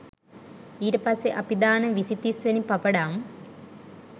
ඊට පස්සේ අපි දාන විසි තිස් වෙනි පපඩම්